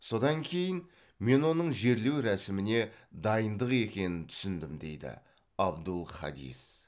содан кейін мен оның жерлеу рәсіміне дайындық екенін түсіндім дейді абдул хадис